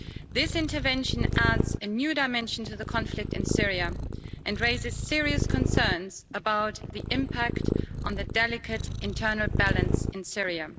This intervention adds a new dimension to the conflict in Syria and raises serious concerns about the impact on the delicate internal balance in Syria.